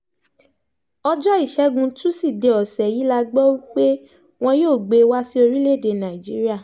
ọjọ́ ìṣẹ́gun tusidee ọ̀sẹ̀ yìí la gbọ́ pé wọn yóò gbé e wá sí orílẹ̀‐èdè nàíjíríà